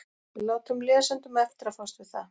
Við látum lesendum eftir að fást við það.